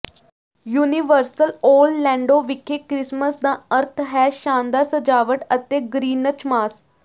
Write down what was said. universal Orlando ਵਿਖੇ Christmas ਦਾ ਅਰਥ ਹੈ ਸ਼ਾਨਦਾਰ ਸਜਾਵਟ ਅਤੇ ਗਰਿਨਚਮਾਸ